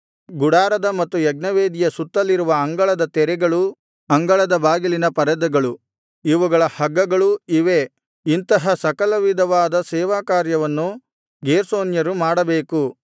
ಗುಡಾರದ ಮತ್ತು ಯಜ್ಞವೇದಿಯ ಸುತ್ತಲಿರುವ ಅಂಗಳದ ತೆರೆಗಳೂ ಅಂಗಳದ ಬಾಗಿಲಿನ ಪರದೆಗಳು ಇವುಗಳ ಹಗ್ಗಗಳೂ ಇವೇ ಇಂತಹ ಸಕಲವಿಧವಾದ ಸೇವಕಾರ್ಯವನ್ನು ಗೇರ್ಷೋನ್ಯರು ಮಾಡಬೇಕು